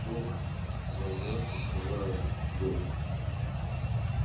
плохо всё сказал я прикрывая дверь